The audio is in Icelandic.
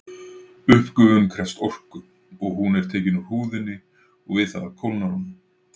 Uppgufun krefst orku og hún er tekin úr húðinni og við það kólnar hún.